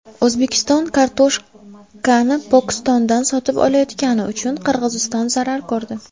O‘zbekiston kartoshkani Pokistondan sotib olayotgani uchun Qirg‘iziston zarar ko‘rdi.